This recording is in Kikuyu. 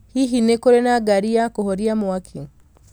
hihi nĩ kũrĩ na ngari ya kũhoria mwaki